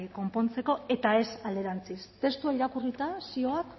konpontzeko eta ez alderantziz testua irakurrita zioak